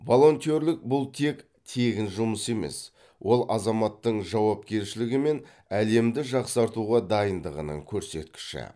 волонтерлік бұл тек тегін жұмыс емес ол азаматтың жауапкершілігі мен әлемді жақсартуға дайындығының көрсеткіші